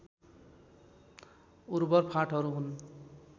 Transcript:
उर्वर फाँटहरू हुन्